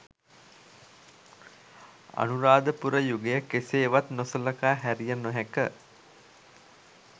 අනුරාධපුර යුගය කෙසේවත් නොසළකා හැරිය නොහැක.